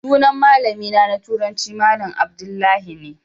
Sunan malamina na turanci malam Abdullahi ne.